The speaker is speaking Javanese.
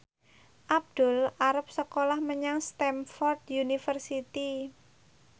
Abdul arep sekolah menyang Stamford University